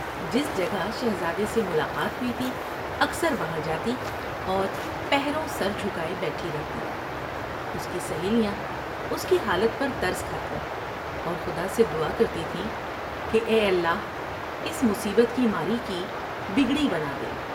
جس جگہ شہزادے سے ملاقات ہوئی تھی اکثر وہاں جاتی اور پہروں سر جھکاۓ بیٹھی رہتی ، اس کی سہیلیاں اس کی حالت پر ترس کھا تیں اور خدا سے دعا کرتی تھیں کہ اے اللہ اس مصیبت کی ماری کی بگڑی بنا دے ۔